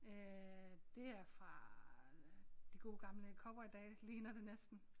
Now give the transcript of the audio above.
Øh det er fra de gode gamle cowboydage ligner det næsten